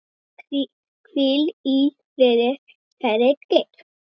Hvíl í friði, kæri Geir.